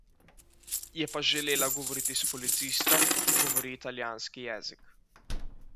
Je pa želela govoriti s policistom, ki govori italijanski jezik.